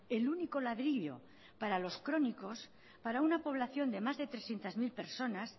el único ladrillo para los crónicos para una población de más de trescientos mil personas